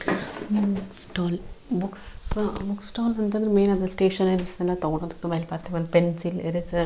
book stall book stall ಅಂತಾನೆ main stationeries ಎಲ್ಲ ತಗೊಂಡ್ ಹೋಗ್ತಾರೆ ಪೆಣ್ ಪೆನ್ಸಿಲ್ ಇರಸೆರ್ --